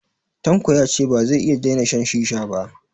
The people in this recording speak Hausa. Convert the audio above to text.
Tanko ya ce ba zai iya daina shan shisha ba